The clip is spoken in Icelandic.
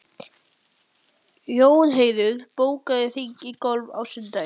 Jónheiður, bókaðu hring í golf á sunnudaginn.